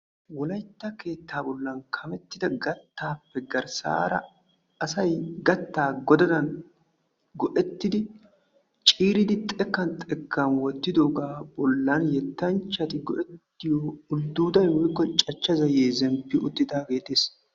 wolaytta keetaa bolan kamettida gataappe garsaara asay gataa godaddan go'ettidi ciiridi xekkan xekkan wottidoogan cachcha zayee zempaagee betees.